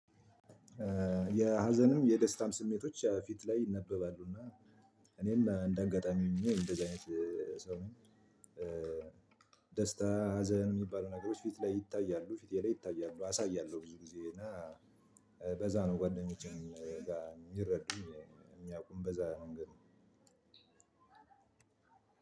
የሀዘንም የደስታም ስሜቶች ፊት ላይ ይነበባሉ። እና እኔም እንደ አጋጣሚ እንደዚህ አይነት ሰው ነኝ ደስታ ሀዘን የሚባሉ ነገሮች ፊት ላይ ይታያሉ ፊቴ ላይ ይታያሉ። አሳያለሁ ብዙ ጊዜ እና በዛ ነው ጓደኞቼን የሚረዱኝ የሚያውቁኝ በዛ ነገር ነው።